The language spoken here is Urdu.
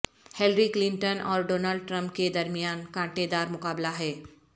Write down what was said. ہلیری کلنٹن اور ڈونلڈ ٹرمپ کے درمیان کانٹے دار مقابلہ ہے